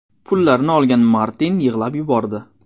Pullarni olgan Martin yig‘lab yubordi.